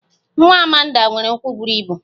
Nwa Amanda nwere ụkwụ buru ibu